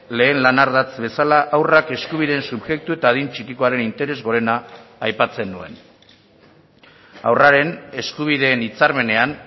lehen lan ardatz bezala haurrak eskubideen subjektu eta adin txikikoaren interes gorena aipatzen nuen haurraren eskubideen hitzarmenean